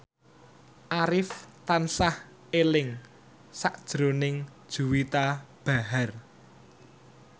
Arif tansah eling sakjroning Juwita Bahar